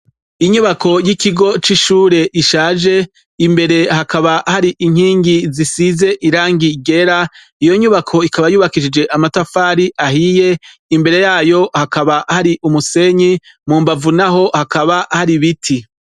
Inyubako y' ikigo c' ishure ishaje , imbere hakaba hari inkingi zisize irangi ryera, iyo nyubako ikaba yubakishije amatafari ahiye, imbere yayo hakaba hari umusenyi, mu mbavu naho hakaba hari ibiti .